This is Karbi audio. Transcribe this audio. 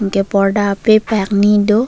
enke porda ape pakni do.